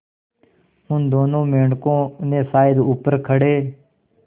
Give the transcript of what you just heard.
उन दोनों मेढकों ने शायद ऊपर खड़े